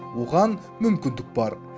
оған мүмкіндік бар